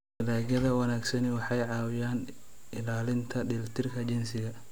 Dalagyada wanaagsani waxay caawiyaan ilaalinta dheelitirka jinsiga.